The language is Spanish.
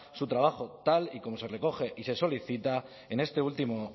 su trabajo tal y como se recoge y se solicita en este último